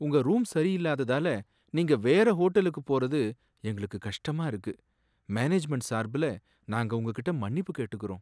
உங்க ரூம் சரியில்லாததால நீங்க வேற ஹோட்டலுக்கு போறது எங்களுக்கு கஷ்டமா இருக்கு, மேனேஜ்மெண்ட் சார்புல நாங்க உங்ககிட்ட மன்னிப்பு கேட்டுக்கறோம்.